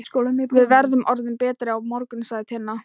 Við verðum orðin betri á morgun, sagði Tinna.